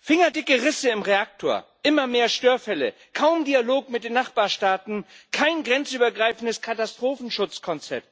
fingerdicke Risse im Reaktor, immer mehr Störfälle, kaum Dialog mit den Nachbarstaaten, kein grenzübergreifendes Katastrophenschutzkonzept.